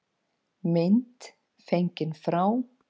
Mynd fengin frá